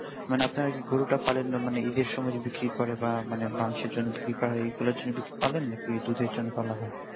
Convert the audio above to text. মানে আপনারা কি গরুটা পালন ঈদের সময় যে বিক্রি করে বা মাংসের জন্য বিক্রি করা হয় এই গুলার জন্য পালেন না কি দুধের জন্য পালা হয়